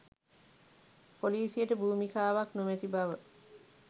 පොලීසියට භූමිකාවක් නොමැති බව